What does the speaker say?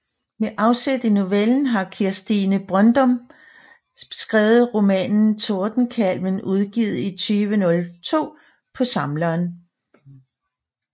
Med afsæt i novellen har Kirstine Brøndum skrevet romanen Tordenkalven udgivet i 2002 på Samleren